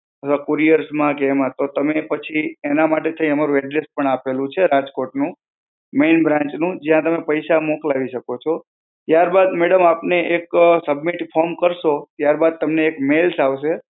અથવા courier માં કે એમાં, તો તમે પછી, એના માટે તઈ અમારું address પણ આપેલું છે, રાજકોટનું, main branch નું. જ્યાં તમે પૈસા મોકલાવી શકો છો. ત્યારબાદ madam આપને એક form submit કરશો, ત્યારબાદ તમને એક mail આવશે.